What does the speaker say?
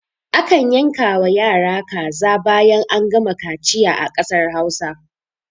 A kan yanka wa yara kaza bayan an gama kaciya a ƙasar hausa